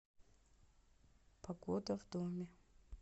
погода в доме